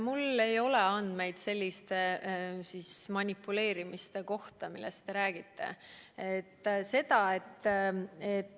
Mul ei ole andmeid selliste manipuleerimiste kohta, millest te räägite.